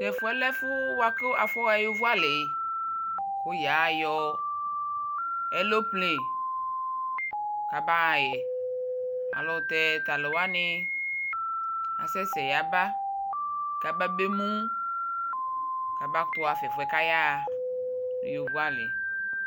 tɛƒʋɛ lɛ ɛƒʋ kʋ aƒʋɔ ha ɛtʋƒʋeli kʋyayɔ NA kabahayɛ ayɛlʋtɛ talʋwani asɛsɛɛ yaba kabemʋ kaba kʋtʋ haƒa ɛƒʋɛ kayahaa nʋ ɛtʋƒʋe ali